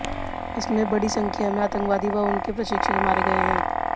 इसमें बड़ी संख्या में आतंकवादी व उनके प्रशिक्षक मारे गए हैं